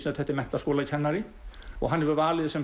þetta er menntaskólakennari og hann hefur valið